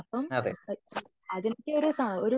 അതേ